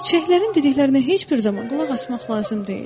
Çiçəklərin dediklərinə heç bir zaman qulaq asmaq lazım deyil.